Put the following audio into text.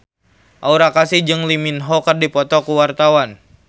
Aura Kasih jeung Lee Min Ho keur dipoto ku wartawan